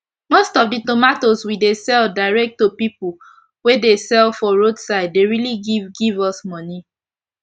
most of the tomatoes we dey sell direct to pipu wey dey sell for roadside dey really give give us moni